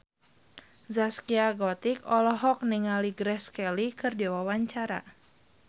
Zaskia Gotik olohok ningali Grace Kelly keur diwawancara